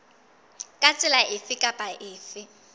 ka tsela efe kapa efe